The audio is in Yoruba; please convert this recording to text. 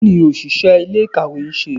kiní oṣiṣẹ ilé-ikáwe nṣe?